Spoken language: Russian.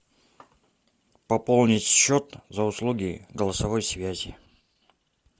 пополнить счет за услуги голосовой связи